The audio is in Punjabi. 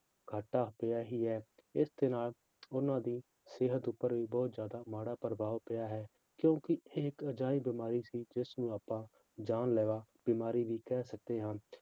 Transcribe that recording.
ਘਾਟਾ ਪਿਆ ਹੀ ਹੈ ਇਸਦੇ ਨਾਲ ਉਹਨਾਂ ਦੀ ਸਿਹਤ ਉੱਪਰ ਵੀ ਬਹੁਤ ਜ਼ਿਆਦਾ ਮਾੜਾ ਪ੍ਰਭਾਵ ਪਿਆ ਹੈ ਕਿਉਂਕਿ ਇਹ ਇੱਕ ਅਜਿਹੀ ਬਿਮਾਰੀ ਸੀ ਜਿਸ ਨੂੰ ਆਪਾਂ ਜਾਨਲੇਵਾ ਬਿਮਾਰੀ ਵੀ ਕਹਿ ਸਕਦੇ ਹਾਂ